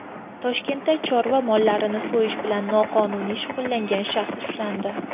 Toshkentda chorva mollarini so‘yish bilan noqonuniy shug‘ullangan shaxs ushlandi.